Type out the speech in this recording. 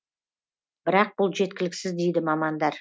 бірақ бұл жеткіліксіз дейді мамандар